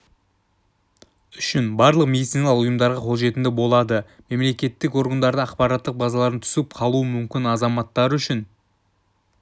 үшін барлық медициналық ұйымдарға қолжетімді болады мемлекеттік органдардың ақпараттық базаларынан түсіп қалуы мүмкін азаматтар үшін